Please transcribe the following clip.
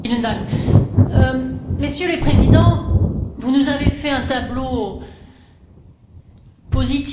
Messieurs les Présidents, vous nous avez fait un tableau positif de ces discussions.